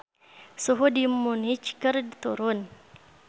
Suhu di Munich keur turun